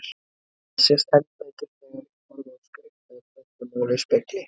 Þetta sést enn betur þegar ég horfi á skrift eða prentað mál í spegli.